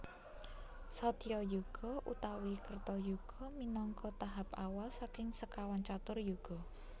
Satyayuga utawi Kertayuga minangka tahap awal saking sekawan catur Yuga